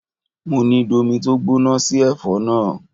Mo ní domi tó gbóná sí ẹ̀fọ́ náà!